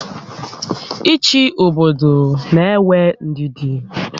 Ị́chị́ obodo n'éwé ndidi